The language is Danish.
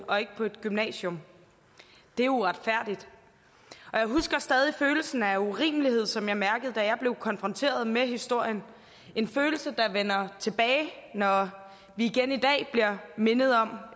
og ikke på et gymnasium det er uretfærdigt og jeg husker stadig følelsen af urimelighed som jeg mærkede da jeg blev konfronteret med historien en følelse der vender tilbage når vi igen i dag bliver mindet om